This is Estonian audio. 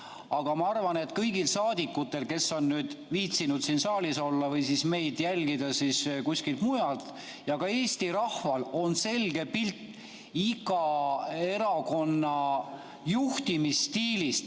Aga ma arvan, et kõigil saadikutel, kes on viitsinud siin saalis olla või meid jälgida kuskilt mujalt, ja ka Eesti rahval on selge pilt iga erakonna juhtimisstiilist.